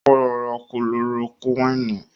Ó lọ ra kúlorokúwìnì